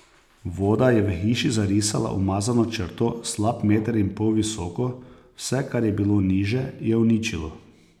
Voda je v hiši zarisala umazano črto slab meter in pol visoko, vse, kar je bilo niže, je uničilo.